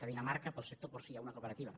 a dinamarca per al sector porcí hi ha una cooperativa